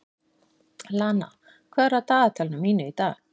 Lana, hvað er á dagatalinu mínu í dag?